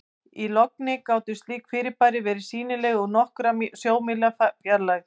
Í logni gátu slík fyrirbæri verið sýnileg úr nokkurra sjómílna fjarlægð.